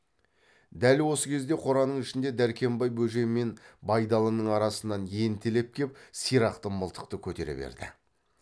дәл осы кезде қораның ішінде дәркембай бөжей мен байдалының арасынан ентелеп кеп сирақты мылтықты көтере берді